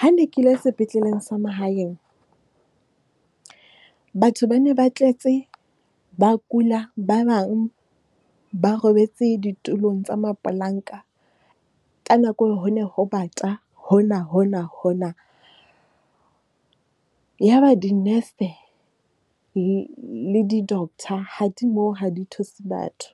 Ha ne ke ile sepetleleng sa mahaeng, batho ba ne ba tletse ba kula, ba bang ba robetse ditulong tsa mapolanka. Ka nako eo ho ne ho bata hona-hona. Ya ba dinese le di-doctor ha di moo ha di thuse batho.